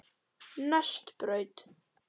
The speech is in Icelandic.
Nesbraut